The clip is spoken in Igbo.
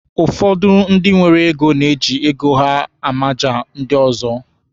Ụfọdụ ndị nwere ego na-eji ego ha amaja ndị ọzọ.